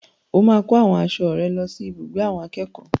O máa kó àwọn aṣọ rẹ lọ sí ibùgbé àwọn akẹ́kọ̀ọ́.